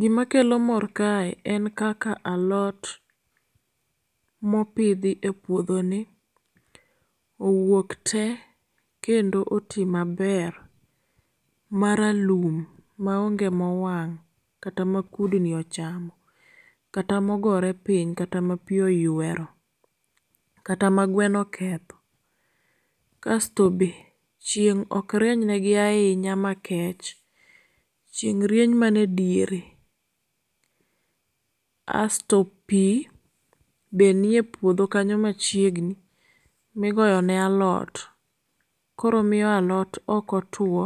Gima kelo mor kae en kaka alot mopidhi e puodho ni owuok te, kendo oti maber maralum maonge mowang' kata ma kudni ochamo. Kata mogore piny, kata ma pi oywero, kata ma gweno oketho. Kasto be, chieng' ok rieny negi ahinya ma kech, chieng' rieny mane diere. Asto pi be niye puodho kanyo machiegni, migoyo ne alot, koro miyo alot okotuo,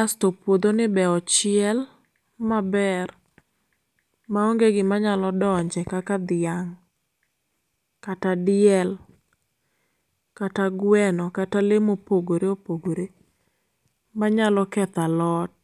asto puodho ni be ochiel maber maonge gima nyalo donje. Kaka dhiang', kata diel, kata gweno, kata lee mopogore opogore manyalo kethalot.